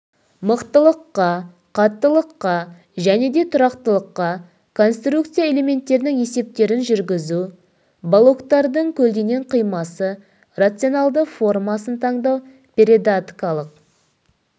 мықтылыққа қаттылыққа және де тұрақтылыққа конструкция элементтерінің есептерін жүргізу балоктардың көлденең қимасы рационалды формасын таңдау передаткалық